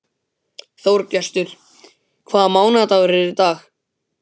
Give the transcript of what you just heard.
Þorgestur, hvaða mánaðardagur er í dag?